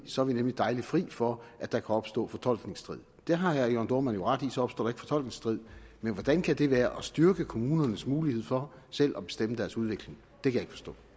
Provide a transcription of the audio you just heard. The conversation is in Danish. så er vi nemlig dejligt fri for at der kan opstå fortolkningsstrid det har herre jørn dohrmann jo ret i så opstår der ikke fortolkningsstrid men hvordan kan det være at styrke kommunernes mulighed for selv at bestemme deres udvikling det kan